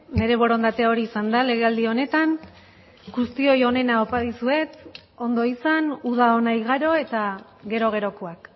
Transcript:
nire borondatea hori izan da legealdi honetan guztioi onena opa dizuet ondo izan uda ona igaro eta gero gerokoak